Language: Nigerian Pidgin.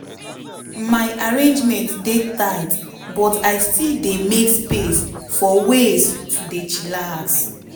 my arrangement dey tight but i still dey make space for ways to dey chillax.